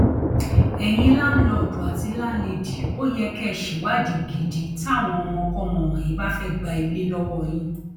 ẹyin láǹlọọdù àti láńlẹdì ò yẹ kẹ ẹ ṣèwádìí gidi táwọn ọmọkọmọ wọnyí bá fẹẹ gba ilé lọwọ yín